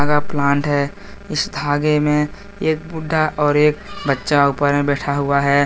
यह प्लांट है इस धागे में एक बुड्ढा और एक बच्चा ऊपर में बैठा हुआ है।